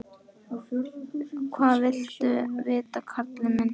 Hvað viltu vita, karl minn?